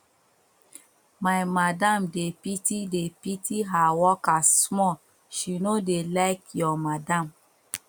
my madam dey pity dey pity her workers small she no dey like your madam